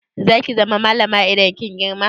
Za ki zama malama idan kin girma?